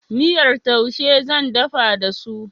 Miyar taushe zan dafa da su.